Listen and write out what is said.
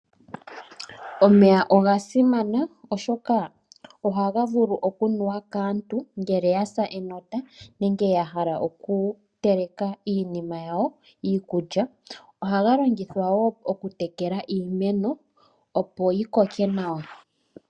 Omeya oga simana oshoka ohaga vulu okunuwa kaantu ngele yasa enota nenge yahala okuteleka iinima yawo iikulya, ohaga longithwa woo okutekela iimeno opo yikoke nawa.